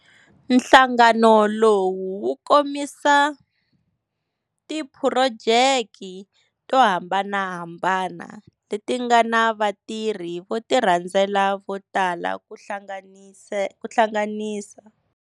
Nhlangano lowu wu komisa tiphurojeki tohambanahambana leti ngana vatirhi votirhanzela votala kuhlanganisa,